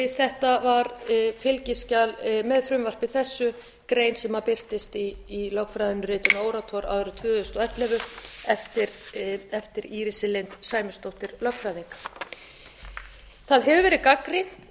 þetta var fylgiskjal með frumvarpi þessu grein sem birtist í lögfræðiritinu orators árið tvö þúsund og ellefu eftir írisi lind sæmundsdóttur lögfræðing það hefur